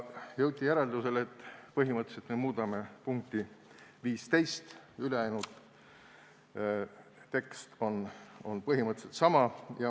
Jõuti järeldusele, et põhimõtteliselt me muudame punkti 15, ülejäänud tekst jääb samaks.